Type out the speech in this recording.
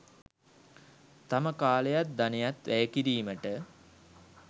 තම කාලයත් ධනයත් වැය කිරීමට